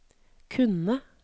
kunne